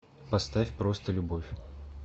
поставь просто любовь